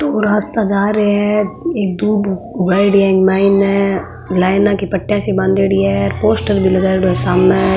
दो रास्ता जा रहे है एक दूब उगाईडी है इके मायने लाइना की पट्टिया सी बांधयेडी है पोस्टर भी लगायोडो है सामने --